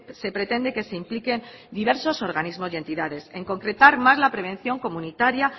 se pretende que se impliquen diversos organismos y entidades en concretar más la prevención comunitaria